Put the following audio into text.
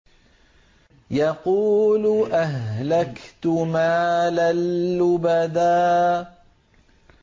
يَقُولُ أَهْلَكْتُ مَالًا لُّبَدًا